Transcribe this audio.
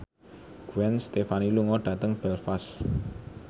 Gwen Stefani lunga dhateng Belfast